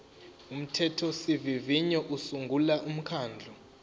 umthethosivivinyo usungula umkhandlu